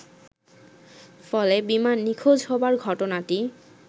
ফলে বিমান নিখোঁজ হবার ঘটনাটি